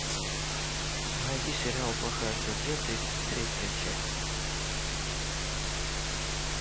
найди сериал плохая судья тридцать третья часть